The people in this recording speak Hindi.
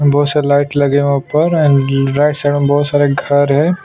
बहुत सारे लाइट लगे हुए हैं ऊपर और राइट साइड में बहुत सारे घर है।